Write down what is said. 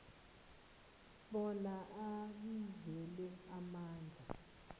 bona abizelwe ebandla